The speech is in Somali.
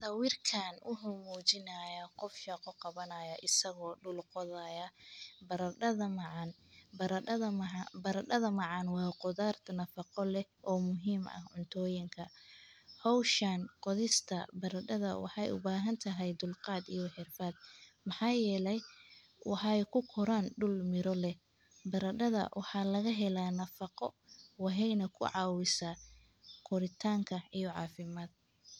Sawirkaan wuxu muujinaya qof shaaqo qabanaya isagoo dhul qodaya. Baradhada macaan. Baradhada maha. Baradhada macaan waa qudarta nafaqo leh oo muhiim ah cuntooyinka. Hawshaan, qodista baradhada waxay u baahan tahay dulqaad iyo xirfaad. Maxaa yeelay, waxaay ku koraan dhul miro leh. Baradhada waxaa laga helaa nafako waheynta ku caawisa qoritaanka iyo caafimaad.